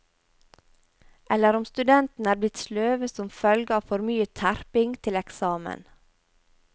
Eller om studentene er blitt sløve som følge av for mye terping til eksamen.